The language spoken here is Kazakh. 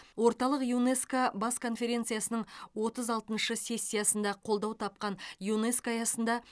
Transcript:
орталық юнеско бас конференциясының отыз алтыншы сессиясында қолдау тапқан юнеско аясында